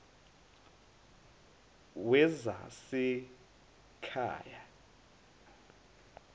wezasekhaya